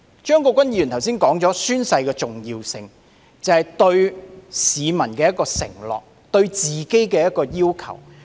張國鈞議員剛才提到宣誓的重要性，就是對市民作出承諾和對自己的要求。